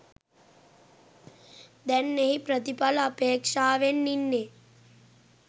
දැන් එහි ප්‍රතිඵල අපේක්‍ෂාවෙන් ඉන්නේ.